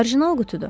Orijinal qutudur.